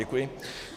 Děkuji.